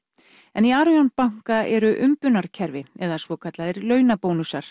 en í Arion banka eru umbunarkerfi eða svokallaðir